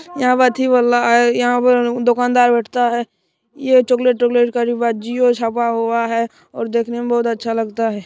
यहां पर अथी वाला है यहां पर उम्म दुकानदार बैठता है ये चॉकलेट तोकलेट का डिब्बा जिओ छापा हुआ है और देखने में बहुत अच्छा लगता है।